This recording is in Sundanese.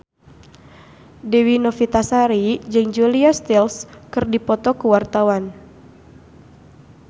Dewi Novitasari jeung Julia Stiles keur dipoto ku wartawan